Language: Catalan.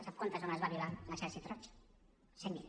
sap quantes dones va violar l’exèrcit roig cent mil